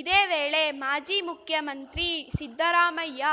ಇದೇ ವೇಳೆ ಮಾಜಿ ಮುಖ್ಯಮಂತ್ರಿ ಸಿದ್ದರಾಮಯ್ಯ